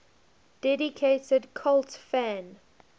dedicated cult fan